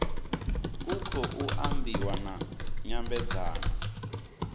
ku khou ambiwa na nyambedzano